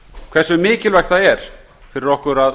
hversu mikilvægt það er fyrir okkur að